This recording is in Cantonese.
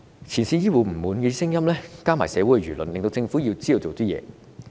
前線醫護人員的不滿聲音加上社會輿論，令政府知道要做些事。